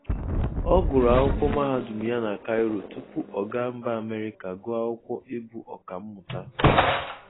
Ọ gụrụ akwụkwọ Mahadụm ya na Kaịro tupu ọ ga mba Amerịka gụọ akwụkwọ ị bụ ọkamụta.